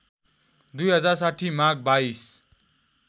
२०६० माघ २२